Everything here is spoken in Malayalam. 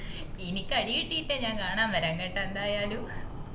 ഇനിക്ക് അടികിട്ടിട്ടേ ഞാൻ കാണാ വേരാ കേട്ട എന്തായാലും